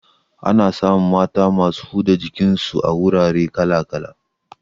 Ana samun mata masu huda jikin su a wurare kala kala